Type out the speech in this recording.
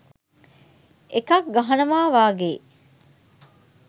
එකක් ගහනවා වගේ.